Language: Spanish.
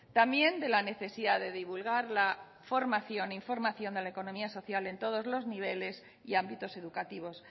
también de la necesidad de divulgar la formación e información de la economía social en todos los niveles y ámbitos educativos